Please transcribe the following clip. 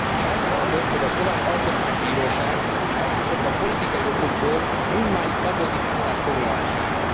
Sajnálatos, hogy a szlovák alkotmánybíróság, elsősorban politikai okokból, mindmáig habozik állásfoglalásával.